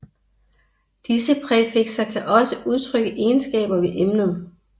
Disse præfikser kan også udtrykke egenskaber ved emnet